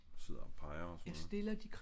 Og sidder og peger og sådan noget